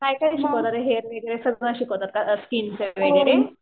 काय काय शिकवतात हेअर्स स्किन वगैरे?